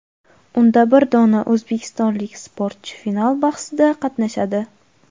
Unda bir dona o‘zbekistonlik sportchi final bahsida qatnashadi.